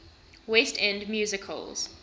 west end musicals